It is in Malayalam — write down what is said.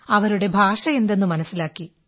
അവരുടെ ഭാഷയെന്താണെന്നു മനസ്സിലാക്കി